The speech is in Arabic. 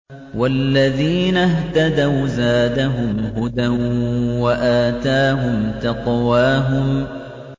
وَالَّذِينَ اهْتَدَوْا زَادَهُمْ هُدًى وَآتَاهُمْ تَقْوَاهُمْ